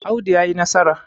Audu ya yi nasarar!